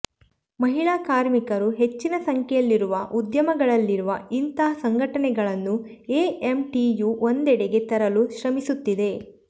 ಮಹಿಳಾ ಕಾರ್ಮಿಕರು ಹೆಚ್ಚಿನ ಸಂಖ್ಯೆಯಲ್ಲಿರುವ ಉದ್ಯಮಗಳಲ್ಲಿರುವ ಇಂಥಾ ಸಂಘಟನೆಗಳನ್ನು ಎಎಂಟಿಯು ಒಂದೆಡೆಗೆ ತರಲು ಶ್ರಮಿಸುತ್ತಿದೆ